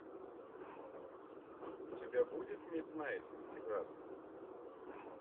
у тебя будет миднайт техас